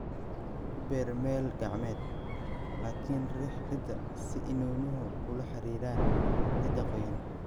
Ku beer meel gacmeed, laakiin riix ciidda si iniinuhu ula xiriiraan ciidda qoyan.